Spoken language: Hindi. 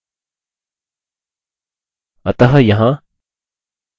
अतः यहाँ count पर ध्यान दीजिये